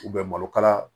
malokala